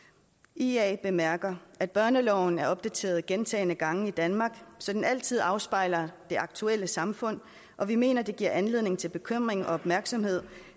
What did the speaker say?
ia bemærker at børneloven er opdateret gentagne gange i danmark så den altid afspejler det aktuelle samfund og vi mener det giver anledning til bekymring og opmærksomhed